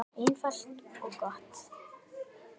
Einfalt og gott.